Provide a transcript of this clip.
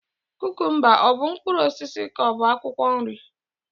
Kukumba ọ bụ mkpụrụ osisi ka ọ bụ akwukwo nri?